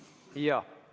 Jaa.